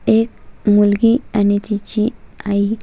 एक मुलगी आणि तिची आई--